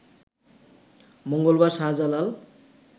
মঙ্গলবার শাহজালাল